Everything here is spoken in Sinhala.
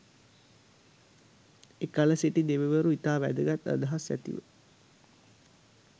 එකල සිටි දෙවිවරු ඉතා වැදගත් අදහස් ඇතිව